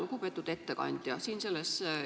Lugupeetud ettekandja!